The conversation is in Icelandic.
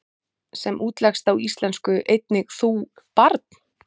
sem útleggst á íslensku einnig þú, barn?